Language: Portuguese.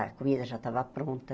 A comida já estava pronta.